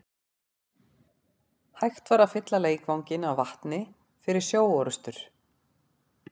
Hægt var að fylla leikvanginn af vatni fyrir sjóorrustur.